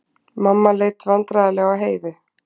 Mamma leit vandræðalega á Heiðu.